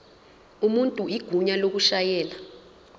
umuntu igunya lokushayela